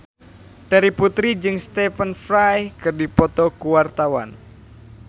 Terry Putri jeung Stephen Fry keur dipoto ku wartawan